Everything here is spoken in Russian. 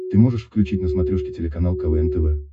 ты можешь включить на смотрешке телеканал квн тв